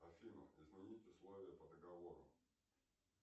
афина изменить условия по договору